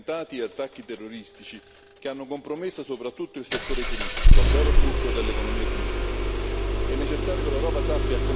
Il paese è stato più volte bersaglio di attentati e attacchi terroristici che hanno compromesso soprattutto il settore turistico, vero fulcro dell'economia tunisina.